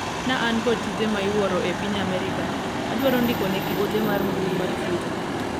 na an kod tije ma iwuoro e piny Amerika adwaro ndikonegi ote mar mbui mar twita